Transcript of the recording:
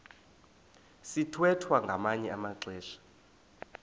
sithwethwa ngamanye amaxesha